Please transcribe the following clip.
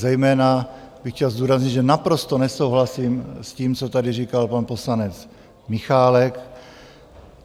Zejména bych chtěl zdůraznit, že naprosto nesouhlasím s tím, co tady říkal pan poslanec Michálek.